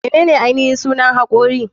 Menene ainihin sunan hakori?